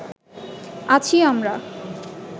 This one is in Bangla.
আছি আমরা